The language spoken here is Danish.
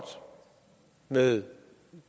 med